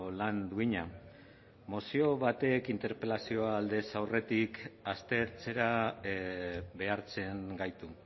lan duina mozio batek interpelazioa aldez aurretik aztertzera behartzen gaitu